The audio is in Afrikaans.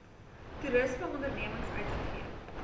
toerisme ondernemings uitgegee